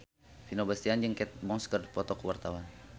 Vino Bastian jeung Kate Moss keur dipoto ku wartawan